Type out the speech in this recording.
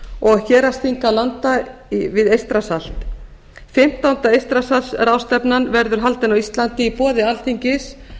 og hérðsþinga landa við eystrasalt fimmtánda eystrasaltsráðstefnan verður haldin á íslandi í boði alþingis